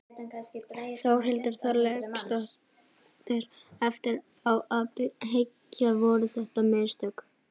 Þórhildur Þorkelsdóttir: Eftir á að hyggja, voru þetta mistök?